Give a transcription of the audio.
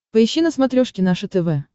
поищи на смотрешке наше тв